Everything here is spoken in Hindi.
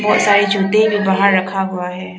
बहुत सारे जूते जो बाहर रखा हुआ है।